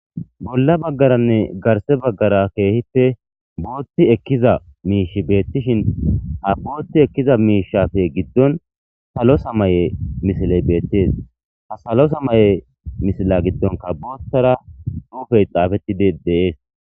Bolla baggaranne garse baggara keehippe bootti ekkiza miishi beettishin ha bootti ekkiza miishafe giddon salo samaye misiley beettees ha salo samaye misila giddonka boottara suufey xaafettidi deees.